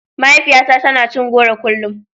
Mahaifiyata tana cin goro kullum.